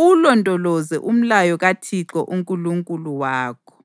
uwulondoloze umlayo kaThixo uNkulunkulu wakho.